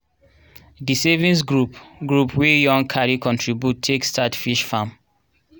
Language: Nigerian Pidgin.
di savings group group wey young carry contribution take start fish farm.